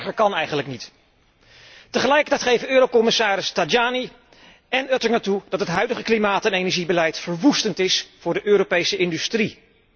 Erger kan eigenlijk niet. Tegelijkertijd geven eurocommissarissen Tajani en Oettinger toe dat het huidige klimaat en energiebeleid verwoestend is voor de Europese industrie.